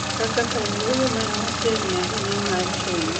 kaka kar yweyo man machiegni ahinya ma chung'